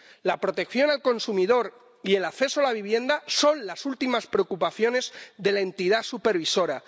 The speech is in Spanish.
La protección del consumidor y el acceso a la vivienda son las últimas preocupaciones de la entidad supervisora.